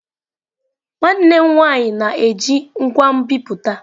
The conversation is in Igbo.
Nwanne m nwanyị na-eji ngwa nbipute.